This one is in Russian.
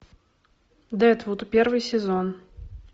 дедвуд первый сезон